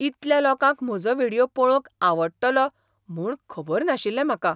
इतल्या लोकांक म्हजो व्हिडियो पळोवंक आवडटलो म्हूण खबर नाशिल्लें म्हाका!